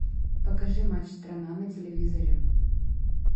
покажи матч страна на телевизоре